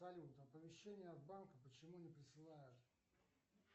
салют оповещение от банка почему не присылают